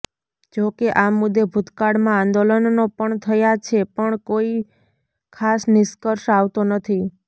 જોકે આ મુદ્દે ભૂતકાળમાં આંદોલનનો પણ થયા છે પણ કોઈ ખાસ નિષ્કર્ષ આવતો નથી